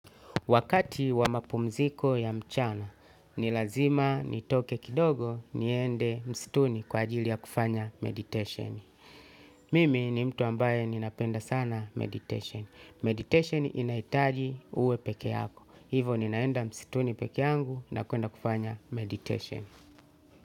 Wakati wa mapumziko ya mchana, nilazima nitoke kidogo niende msituni kwa ajili ya kufanya meditation. Mimi ni mtu ambaye ninapenda sana meditation. Meditation inaitaji uwe peke yako. Hivo ninaenda msituni peke yangu na kuenda kufanya meditation.